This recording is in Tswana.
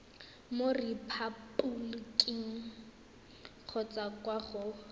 mo repaboliking kgotsa kwa go